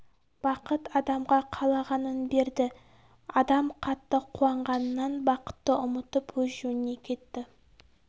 бақыт адамға қалағанын берді адам қатты қуанғанынан бақытты ұмытып өз жөніне кетті